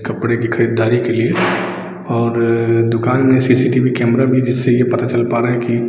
कपड़े की खरीदारी के लिएऔर दुकान में सीसीटी वी कैमरा भी है जिससे ये पता चल पा रहा है की --